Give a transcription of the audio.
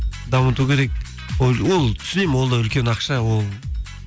дамыту керек ол түсінемін ол да үлкен ақша ол